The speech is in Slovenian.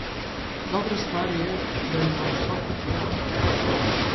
Dobra stvar je, da ima vso podporo.